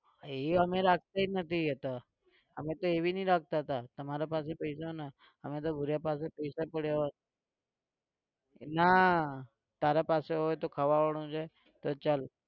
એ અમને રાખતા જ નથી એતો અમે તો એવું નથી રાખતા હતા કે તમારા પાસે પૈસા ના હોય અમે તો ભુરીયા પાસે પૈસા પડ્યા હોય નાં તારા પાસે હોય તો ખવાડાવાનું છે તો ચલ.